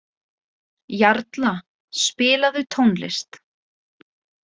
Jarla, spilaðu tónlist.